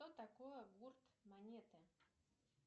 что такое гурт монеты